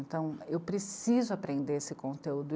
Então, eu preciso aprender esse conteúdo.